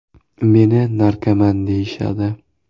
Meni ‘narkoman’ deyishadi.